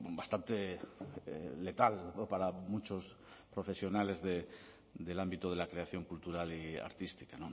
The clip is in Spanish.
bastante letal para muchos profesionales del ámbito de la creación cultural y artística